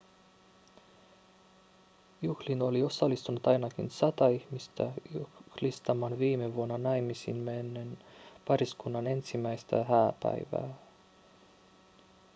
juhliin oli osallistunut ainakin sata ihmistä juhlistamaan viime vuonna naimisiin mennen pariskunnan ensimmäistä hääpäivää